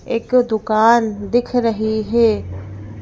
एक दुकान दिख रही है।